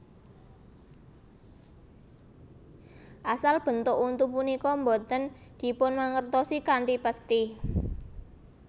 Asal bentuk untu punika boten dipunmangertosi kanthi pesthi